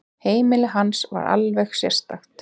Heimili hans var alveg sérstakt.